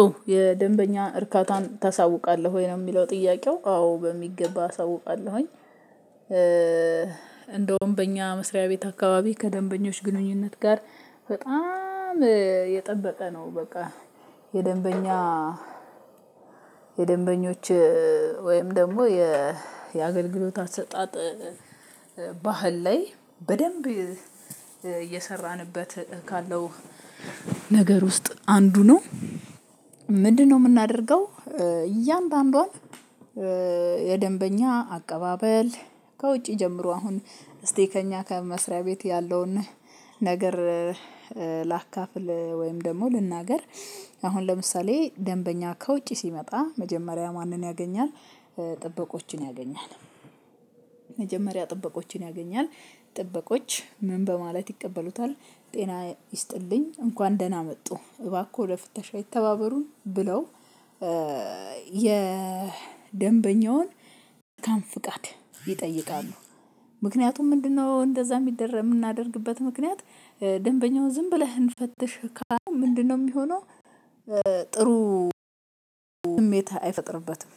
ኦ የደንበኛ እርካታን ታሳውቃለህ ወይ ነው የሚለው ጥያቄው አዎ በሚገባ አሳውቃለሁኝ። እንደውም በእኛ መስሪያ ቤት አካባቢ ከደንበኞች ግንኙነት ጋር በጣም የጠበቀ ነው። በቃ የደንበኛ የደንበኞች ወይም ደግሞ የአገልግሎት አሰጣጥ ባህል ላይ በደንብ እየሰራንበት ካለው ነገር ውስጥ አንዱ ነው። ምንድነው? የምናደርገው እያንዳንዷን የደንበኛ አቀባበል ከውጪ ጀምሮ አሁን እስቲ ከእኛ ከመስሪያ ቤት ያለውን ነገር ላካፍል ወይም ደግሞ ልናገር አሁን ለምሳሌ ደንበኛ ከውጪ ሲመጣ መጀመሪያ ማንን ያገኛል ጥበቆችን ያገኛል። መጀመሪያ ጥበቆችን ያገኛል። ጥበቆች ምን በማለት ይቀበሉታል ጤና ይስጥልኝ እንኳን ደህና መጡ እባክዎ ለፍተሻ ይተባበሩን ብለው የደንበኛውን መልካም ፍቃት ይጠይቃሉ። ምክንያቱም ምንድነው? እንደዛ የሚደረግ የምናደርግበት ምክንያት ደንበኛውን ዝም ብለህ እንፈትሽ ካልን ምንድነው የሚሆነው? ጥሩ ስሜት አይፈጥርበትም።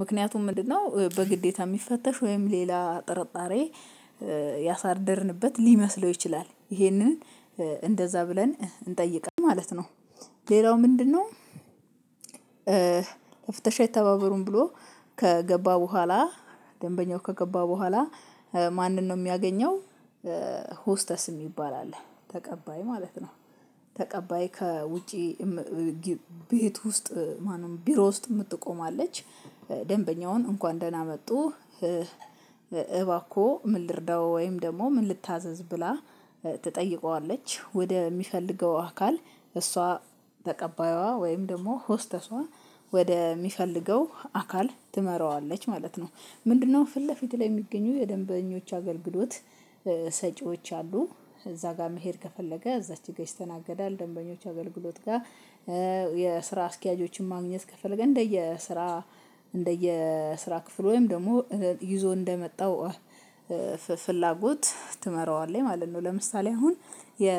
ምክንያቱም ምንድነው? በግዴታ የሚፈተሽ ወይም ሌላ ጥርጣሬ ያሳድርንበት ሊመስለው ይችላል ይሄንን እንደዛ ብለን እንጠይቃለን ማለት ነው። ሌላው ምንድነው? ለፍተሻ ይተባበሩን ብሎ ከገባ በኋላ ደንበኛው ከገባ በኋላ ማንን ነው የሚያገኘው? ሆስተስ የሚባል አለ ተቀባይ ማለት ነው። ተቀባይ ከውጪ ቤት ውስጥ ማነው ቢሮ ውስጥ የምትቆም አለች። ደንበኛውን እንኳን ደህና መጡ እባኮ ምን ልርዳው ወይም ደግሞ ምን ልታዘዝ ብላ ትጠይቀዋለች ወደ የሚፈልገው አካል እሷ ተቀባይዋ ወይም ደግሞ ሆስተሷ ወደ የሚፈልገው አካል ትመራዋለች ማለት ነው። ምንድነው? ፊት ለፊት ላይ የሚገኙ የደንበኞች አገልግሎት ሰጪዎች አሉ። እዛ ጋር መሄድ ከፈለገ እዛች ጋር ይስተናገዳል። ደንበኞች አገልግሎት ጋር የስራ አስኪያጆችን ማግኘት ከፈለገ እንደየስራ እንደየስራ ክፍል ወይም ደግሞ ይዞ እንደመጣው ፍላጎት ትመራዋለች ማለት ነው። ለምሳሌ አሁን የ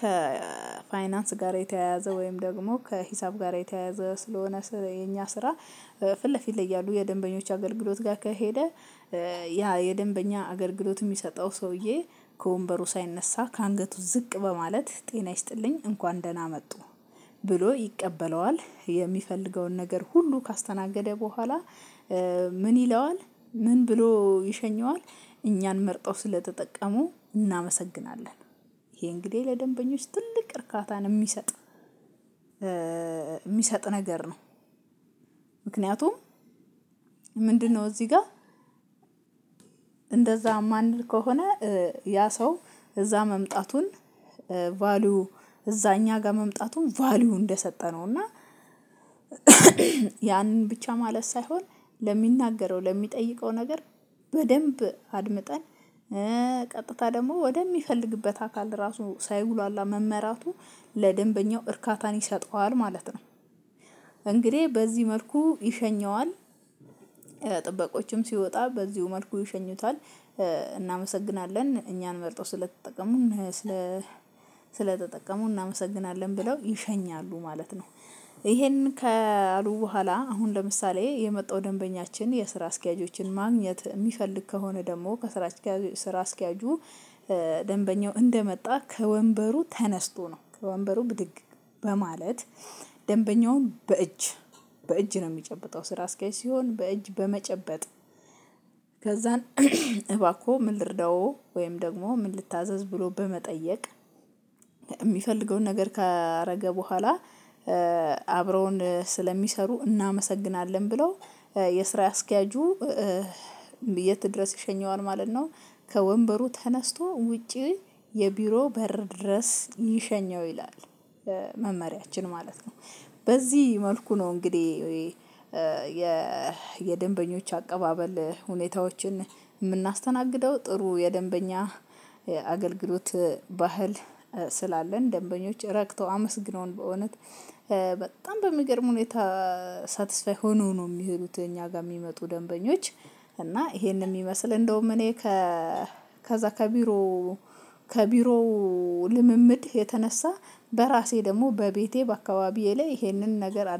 ከፋይናንስ ጋር የተያያዘ ወይም ደግሞ ከሂሳብ ጋር የተያያዘ ስለሆነ የኛ ስራ ፊት ለፊት ላይ ያሉ የደንበኞች አገልግሎት ጋር ከሄደ። ያ የደንበኛ አገልግሎት የሚሰጠው ሰውዬ ከወንበሩ ሳይነሳ ከአንገቱ ዝቅ በማለት ጤና ይስጥልኝ እንኳን ደህና መጡ። ብሎ ይቀበለዋል የሚፈልገውን ነገር ሁሉ ካስተናገደ በኋላ ምን ይለዋል ምን ብሎ ይሸኘዋል። እኛን መርጠው ስለተጠቀሙ እናመሰግናለን። ይሄ እንግዲህ ለደንበኞች ትልቅ እርካታን የሚሰጥ የሚሰጥ ነገር ነው። ምክንያቱም ምንድነው? እዚህ ጋር እንደዛ የማንል ከሆነ ያ ሰው እዛ መምጣቱን ቫልዩ እዛ እኛ ጋር መምጣቱን ቫልዩ እንደሰጠነው እና ያንን ብቻ ማለት ሳይሆን ለሚናገረው ለሚጠይቀው ነገር በደንብ አድምጠን ቀጥታ ደግሞ ወደሚፈልግበት አካል ራሱ ሳይጉላላ መመራቱ ለደንበኛው እርካታን ይሰጠዋል ማለት ነው። እንግዲህ በዚህ መልኩ ይሸኘዋል። ጥበቆችም ሲወጣ በዚሁ መልኩ ይሸኙታል። እናመሰግናለን እኛን መርጠው ስለተጠቀሙ ስለ ስለተጠቀሙ እናመሰግናለን ብለው ይሸኛሉ ማለት ነው። ይሄን ከአሉ በኋላ አሁን ለምሳሌ የመጣው ደንበኛችን የስራ አስኪያጆችን ማግኘት የሚፈልግ ከሆነ ደግሞ ከስራ አስኪያጆ ስራ አስኪያጁ ደንበኛው እንደመጣ ከወንበሩ ተነስቶ ነው ከወንበሩ ብድግ በማለት ደንበኛውን በእጅ በእጅ ነው የሚጨብጠው ስራ አስካይ ሲሆን በእጅ በመጨበጥ ከዛን እባኮ ምን ልርዳው ወይም ደግሞ ምን ልታዘዝ ብሎ በመጠየቅ የሚፈልገውን ነገር ካደረገ በኋላ አብረውን ስለሚሰሩ እናመሰግናለን ብለው የስራ አስኪያጁ የት ድረስ ይሸኘዋል ማለት ነው። ከወንበሩ ተነስቶ ውጪ የቢሮ በር ድረስ ይሸኘው ይላል። መመሪያችን ማለት ነው። በዚህ መልኩ ነው እንግዲህ ወይ? የደንበኞች አቀባበል ሁኔታዎችን የምናስተናግደው ጥሩ የደንበኛ አገልግሎት ባህል ስላለን ደንበኞች ረክተው አመስግነውን በእውነት በጣም በሚገርም ሁኔታ ሳትስፋይ ሆነው ነው የሚሄዱት። እኛ ጋር የሚመጡ ደንበኞች እና ይሄንን የሚመስል እንደውም እኔ ከዛ ከቢሮ ከቢሮ ልምምድ የተነሳ በራሴ ደግሞ በቤቴ በአካባቢዬ ላይ ይሄንን ነገር